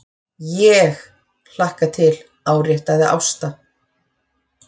ÉG hlakka til, áréttaði Ásta.